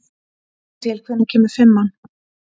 Adíel, hvenær kemur fimman?